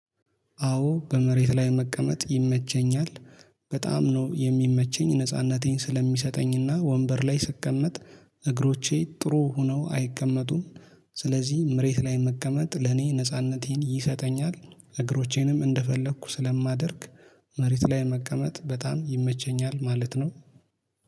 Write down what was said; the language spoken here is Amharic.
አዎ በመሬት ላይ መቀመጥ ይመቸኛል። በጣም ነው የሚመቸኝ ነጻነቴን ስለሚሰጠኝና ወንበር ላይ ስቀመጥ እግሮቼ ጥሩ ሆነው አይቀመጡም። ስለዚህ መሬት ላይ መቀመጥ ለኔ ነጻነቴን ይሰጠኛል። እግሮቼንም እንደፈለኩ ስለማደርግ መሬት ላይ መቀመጥ በጣም ይመቸኛል ማለት ነው